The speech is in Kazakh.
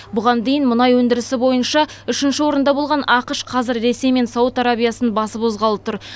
бұған дейін мұнай өндірісі бойынша үшінші орында болған ақш қазір ресей мен сауд арабиясын басып озғалы тұр